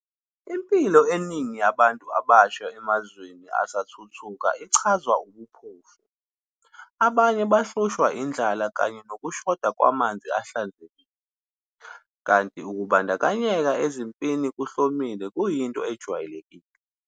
Impilo eningi yabantu abasha emazweni asathuthuka ichazwa ubuphofu, abanye bahlushwa indlala kanye nokushoda kwamanzi ahlanzekile, kanti ukubandakanyeka ezimpini kuhlomile kuyinto ejwayelekile.